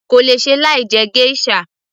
kò lè ṣe láì jẹ geisha